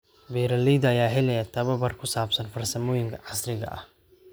Beeralayda ayaa helaya tababar ku saabsan farsamooyinka casriga ah.